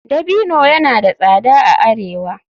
Dabino yana da tsada a arewa.